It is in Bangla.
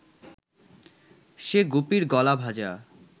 সে গুপির গলা ভাঁজা